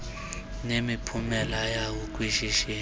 nemiphumela yawo kwishishini